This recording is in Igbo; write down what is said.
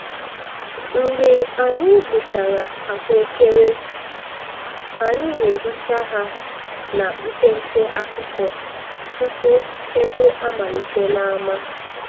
Mgbe anyị gbuchara ahụekere, anyị na-ehicha ha na mpempe akwụkwọ tupu egwu amalite n'ámá.